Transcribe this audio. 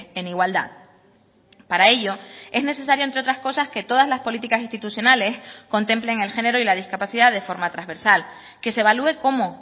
en igualdad para ello es necesario entre otras cosas que todas las políticas institucionales contemplen el género y la discapacidad de forma transversal que se evalué cómo